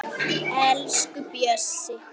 Elsku Bjössi